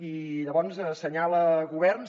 i llavors assenyala governs